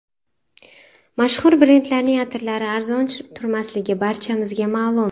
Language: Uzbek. Mashhur brendlarning atirlari arzon turmasligi barchamizga ma’lum.